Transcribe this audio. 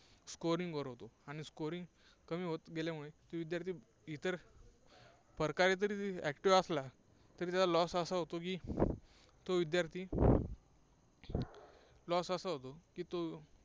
scoring वर होतो. आणि scoring कमी होत गेल्यामुळे ते विद्यार्थी इतर प्रकारे जरी active असला तरी त्याचा loss असा होतो की तो विद्यार्थी loss असा होतो की तो